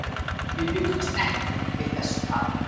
Við bjuggumst ekki við þessu tapi.